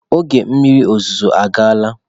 Oge mmiri ozuzo agaala.